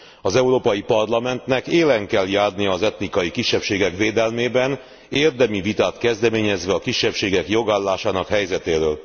Az Európai Parlamentnek élen kell járnia az etnikai kisebbségek védelmében, érdemi vitát kezdeményezve a kisebbségek jogállásának helyzetéről.